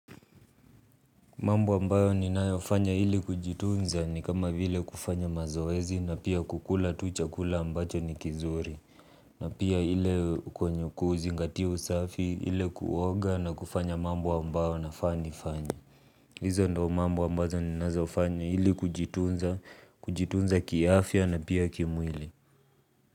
Mambo ambayo ninayofanya ili kujitunza ni kama vile kufanya mazoezi na pia kukula tu chakula ambacho ni kizuri. Na pia ile kwenye kuzingatia usafi ile kuoga na kufanya mambo ambayo nafaa nifanye. Hizo ndo mambo ambayo ninazofanya ili kujitunza kiafya na pia kimwili.